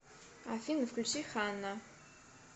афина включи хана